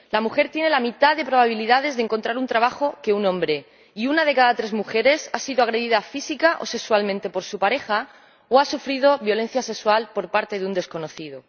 La mujer tiene la mitad de probabilidades de encontrar un trabajo que un hombre y una de cada tres mujeres ha sido agredida física o sexualmente por su pareja o ha sufrido violencia sexual por parte de un desconocido.